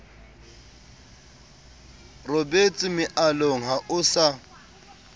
robetse mealong ha o sa